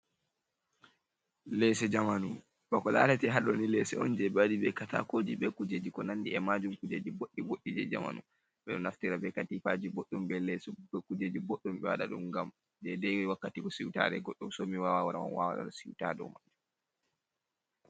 Lesse jamanu, bako larate ha ɗoni lesso on je ɓe waɗi ɓe katakoji be kujeji ko nandi e majum kujeji boɗɗi boɗɗi je jamanu ɓeɗo naftira be katifaji ɓoɗɗum be lese be kujeji boɗɗum ɓe waɗa ɗum gam je dai dai wakkati ko siutare goɗɗo somi wawan wara on wala siuta ha dou.